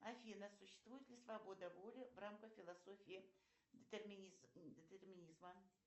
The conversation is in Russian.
афина существует ли свобода воли в рамках философии детерминизма